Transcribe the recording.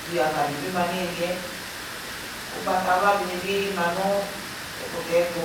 viava di bi ma niyiliɛ ugbatawla dibi ma nu ɛkutɛ tu